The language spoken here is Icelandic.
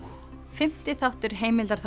fimmti þáttur